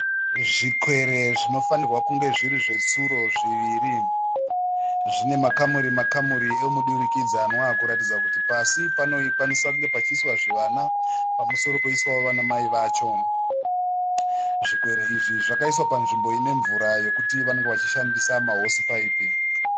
Zvikwere zvinofanirwa kunge zviri zvetsuro zviviri zvine makamuri-makamuri emudirikidzanwakuratidza kuti pasi panokwaniswa kuiswa zvivana pamusoro vana mai vacho. Zvikwere zvakaiswa panzvimbo ine mvura yekuti vanenge vachishandisa mahosipayipi.